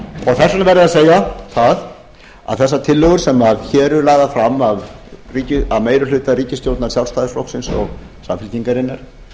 þess vegna verður að segja það að þessar tillögur sem hér eru lagðar fram af meiri hluta ríkisstjórnar sjálfstæðisflokksins og samfylkingarinnar